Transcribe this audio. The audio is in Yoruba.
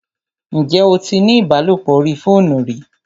Ǹjẹ́ o tí ní ìbálòpọ̀ orí fóònù rí?